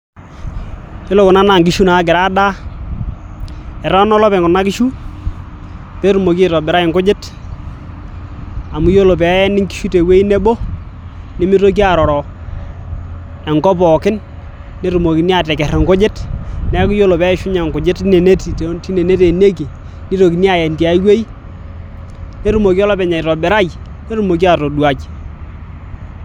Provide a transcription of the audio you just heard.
Ore kuna naa inkishu naagira aadaa eteena olopeny kuna kishu peetumoki aitobirai inkujit amu ore peeni inkishu tewueji nebo nimitoki aaroro enkop pookin netumokini aateker inkujit neeku ore peeishunye inkujit tine neteenieki nitokini aaen tiai wueji nitumoki olopeny aitobirai netumoki atoduai.